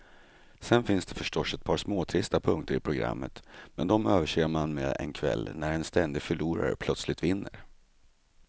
Sen finns det förstås ett par småtrista punkter i programmet, men de överser man med en kväll när en ständig förlorare plötsligt vinner.